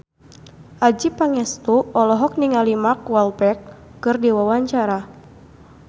Adjie Pangestu olohok ningali Mark Walberg keur diwawancara